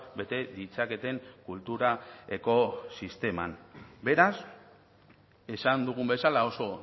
bete ditzaketen kulturako sisteman beraz esan dugun bezala oso